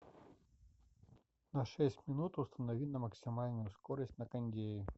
на шесть минут установи на максимальную скорость на кондее